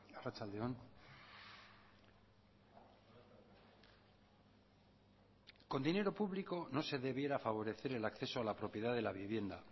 arratsalde on con dinero público no se debiera favorecer el acceso a la propiedad de la vivienda